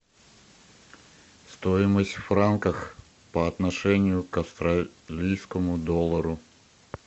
стоимость в франках по отношению к австралийскому доллару